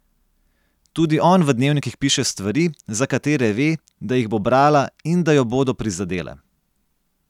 Tudi on v dnevnikih piše stvari, za katere ve, da jih bo brala in da jo bodo prizadele.